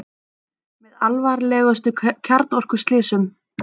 Með alvarlegustu kjarnorkuslysum